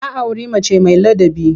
Ya auri mace mai ladabi.